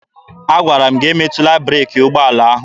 Agwara m gị emetụla breeki ụgbọala ahụ!